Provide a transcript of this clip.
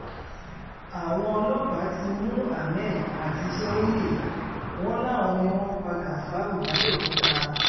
àwọn ọlọ́pàá ti mú ahmed àti sèhóyè wọn láwọn ni wọ́n pa gafárù làbẹ́òkúta